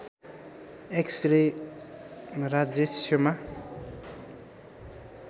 x ray राजयक्ष्मा